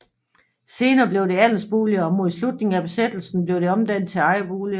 Senere blev det andelsboliger og mod slutningen af besættelsen blev det omdannet til ejerboliger